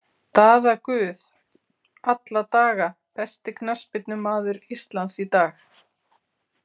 Daða Guð alla daga Besti knattspyrnumaður Íslands í dag?